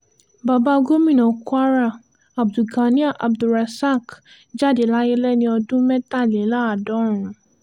bàbá gomina kwara abdulganiyar abdul-rosaq jáde láyé lẹ́ni ọdún mẹ́tàléláàádọ́rùn